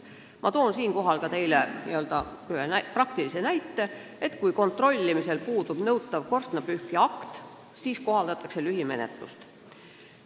Ma toon ühe praktilise näite: kui kontrollimisel puudub nõutav korstnapühkija allkirjaga akt, siis kohaldatakse lühimenetlust.